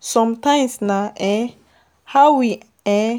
Sometimes na um how we um